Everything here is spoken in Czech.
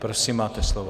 Prosím, máte slovo.